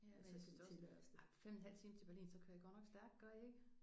Ja altså jeg synes da også ej 5 en halv time til Berlin så kører I godt nok stærkt gør I ikke?